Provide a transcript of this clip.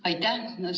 Aitäh!